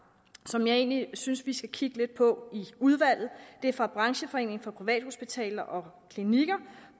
som jeg egentlig synes vi skal kigge lidt på i udvalget det er fra brancheforeningen for privathospitaler og klinikker